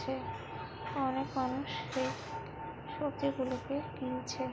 অনেক মানুষ এই সব্জিগুলোকে কিনছে।